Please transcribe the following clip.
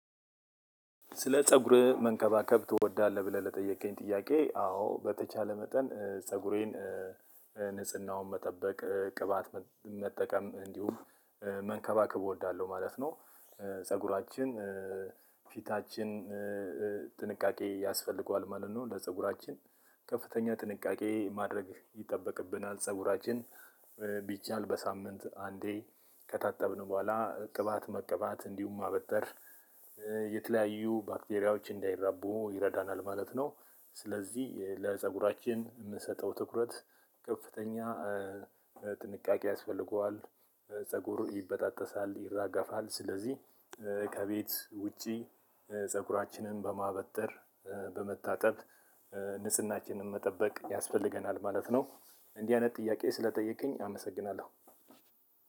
ስለ ፀጉር መንከባከብ ትወዳለህ ብለህ ለጠየከኝ ጥያቄ? አዎ በተቻለ መጠን ፀጉሬን ንጽህናውን መጠበቅ ቅባት መጠቀም እንዲሁም መንከባከብ እወዳለሁ ማለት ነው። ፀጉራችን ፊታችን ጥንቃቄ ያስፈልገዋል ማለት ነው። ለፀጉራችን ከፍተኛ ጥንቃቄ ማድረግ ይጠበቅብናል። ፀጉራችን ቢቻል በሳምንት አንዴ ከታጠብን በኋላ ቅባት መቀባት እንዲሁም ማበጠር የተለያዩ ባክቴሪያዎች እንዳይራቡ ይረዳናል ማለት ነው። ስለዚህ ለፀጉራችን የምንሰጠው ትኩረት ከፍተኛ ጥንቃቄ ያስፈልገዋል። ፀጉር ይበጣጠሳል ይራገፋል ስለዚህ ከቤት ውጪ ፀጉራችንን በማበጠር በመታጠብ ንጽህናችንን መጠበቅ ያስፈልገናል ማለት ነው። እንዲህ አይነት ጥያቄ ስለጠየከኝ አመሰግናለሁ።